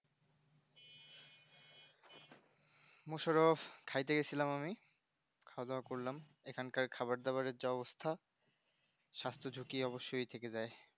মোশারফ খায়তে গিয়াছিলাম আমি খাওয়া দাওয়া করলাম এখনকার খাবার দাবার এর যা অবস্থা স্বাস্থ ঝুঁকি অবশ্যই থেকে যাই